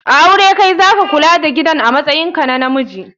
A aure Kai zaka Kula da gidan amatsayin ka na Namji